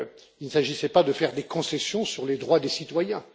Il ne s'agissait pas de faire des concessions sur les droits des citoyens.